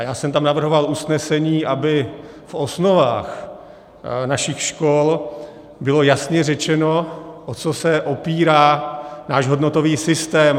A já jsem tam navrhoval usnesení, aby v osnovách našich škol bylo jasně řečeno, o co se opírá náš hodnotový systém.